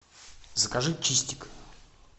закажи чистик